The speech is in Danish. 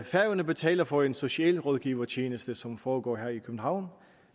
færøerne betaler for en socialrådgivertjeneste som foregår her i københavn og